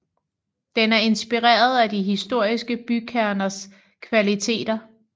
Den er inspireret af de historiske bykerners kvaliteter